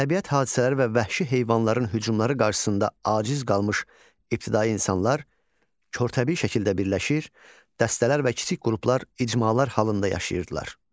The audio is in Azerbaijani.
Təbiət hadisələri və vəhşi heyvanların hücumları qarşısında aciz qalmış ibtidai insanlar kortəbii şəkildə birləşir, dəstələr və kiçik qruplar icmalar halında yaşayırdılar.